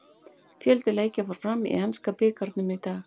Fjöldi leikja fór fram í enska bikarnum í dag.